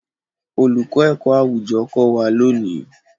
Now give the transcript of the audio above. Olùkọ́ ẹ̀kọ́-àwùjọ kò wá lónìí.